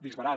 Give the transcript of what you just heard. disbarat